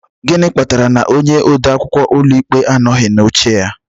Gịnị kpatara na onye ode akwụkwọ ụlọikpe anoghị anọ n'oche ya?